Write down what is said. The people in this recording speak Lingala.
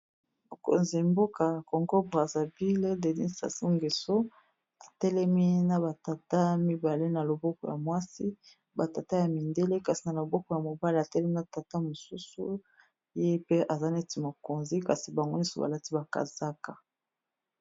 Mokonzi mboka Congo Brazzaville Denis Sassou Ngeso, atelemi na ba tata mibale na loboko ya mwasi batata ya mindele kasi na loboko ya mobale atelemi na tata mosusu ye pe eza neti mokonzi kasi bango nyoso balati ba kazaka.